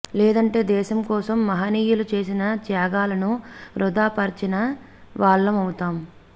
లేదంటే దేశం కోసం మహనీయులు చేసిన త్యాగాలను వృధా పరచిన వాళ్ళం అవుతాం